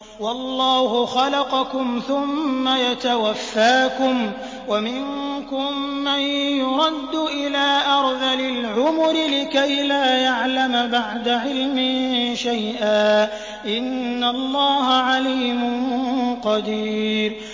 وَاللَّهُ خَلَقَكُمْ ثُمَّ يَتَوَفَّاكُمْ ۚ وَمِنكُم مَّن يُرَدُّ إِلَىٰ أَرْذَلِ الْعُمُرِ لِكَيْ لَا يَعْلَمَ بَعْدَ عِلْمٍ شَيْئًا ۚ إِنَّ اللَّهَ عَلِيمٌ قَدِيرٌ